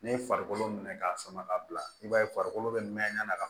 Ne ye farikolo minɛ k'a sama ka bila i b'a ye farikolo bɛ mɛn